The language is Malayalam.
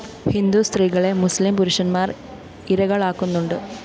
ഹിന്ദുസ്ത്രീകളെ മുസ്ലിം പുരുഷന്മാര്‍ ഇരകളാക്കുന്നുണ്ട്